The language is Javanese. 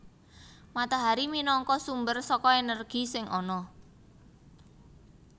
Matahari minangka sumber saka energi sing ana